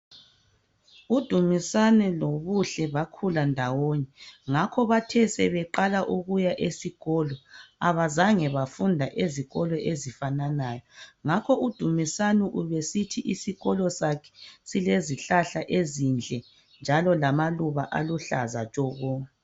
u Dumisani lo Buhle bakhulandawonye ngakho ke bathe sebeqaa ukuya esikolo abazange bafunda ezikolo ezifananayo ngakho u Dumisani ubesithi isikolo sakhe silezihlahla ezinhle njalo lamaluba aluhlaza tshoko